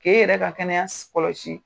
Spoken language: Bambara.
Ke n yɛrɛ ka kɛnɛya kɔlɔsi.